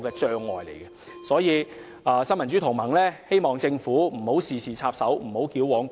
因此，新民主同盟希望政府不要事事插手，亦不要矯枉過正。